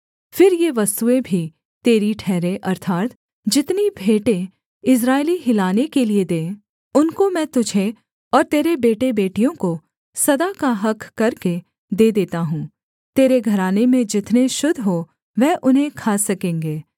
फिर ये वस्तुएँ भी तेरी ठहरें अर्थात् जितनी भेंटें इस्राएली हिलाने के लिये दें उनको मैं तुझे और तेरे बेटेबेटियों को सदा का हक़ करके दे देता हूँ तेरे घराने में जितने शुद्ध हों वह उन्हें खा सकेंगे